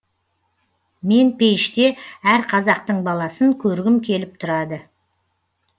мен пейіште әр қазақтың баласын көргім келіп тұрады